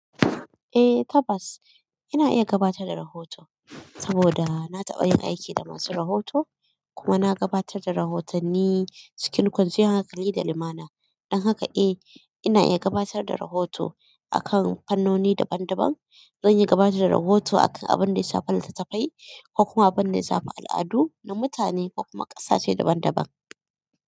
Eh tabbas ina iya gabatar da rahoto saboda na taɓa yin aiki da masu rahoto kuma na gabatar da rahotanni cikin kwanciyar hankali da limana. Dan haka eh, ina iya gabatar da rahotu akan fannoni daban daban zan iya gabatar da rahotu akan abinda ya shafi litayyafai.